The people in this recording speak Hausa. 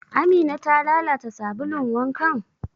Amina ta lalata sabulun wankan?